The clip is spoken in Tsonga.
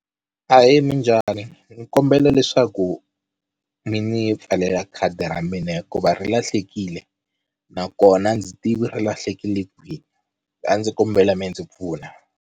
Ahee minjhani ni kombela leswaku mi ni pfalela khadi ra mina hikuva ri lahlekile nakona a ndzi tivi ri lahlekile kwihi a ndzi kombela mi ndzi pfuna.